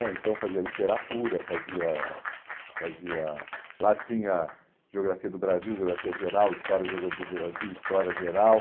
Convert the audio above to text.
Então fazia literatura, fazia fazia... Lá tinha Geografia do Brasil, Geografia Geral, História do Brasil, História Geral.